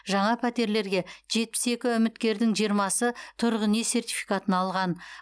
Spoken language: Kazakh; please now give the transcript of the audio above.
жаңа пәтерлерге жетпіс екі үміткердің жиырмасы тұрғын үй сертификатын алған